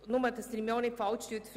Verstehen Sie mich nicht falsch: